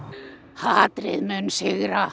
hatrið mun sigra